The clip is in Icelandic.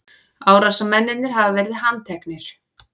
Árásarmennirnir hafa verið handteknir